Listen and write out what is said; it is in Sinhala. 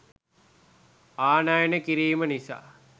ආනයනය කිරීම නිසා